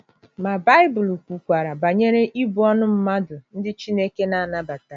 Ma, Baịbụl kwukwara banyere ibu ọnụ mmadụ ndị Chineke na - anabataghị.